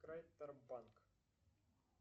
крайтор банк